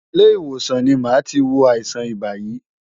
Ilé ìwòsàn ni màá ti wo àìsàn ibà yìí.